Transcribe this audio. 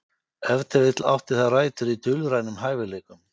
Ef til vill átti það rætur í dulrænum hæfileikum.